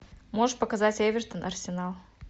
можешь показать эвертон арсенал